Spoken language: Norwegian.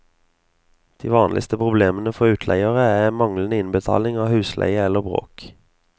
De vanligste problemene for utleiere er manglende innbetaling av husleie eller bråk.